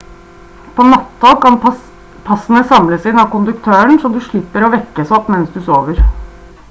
på natt-tog kan passene samles inn av konduktøren så du slipper å vekkes opp mens du sover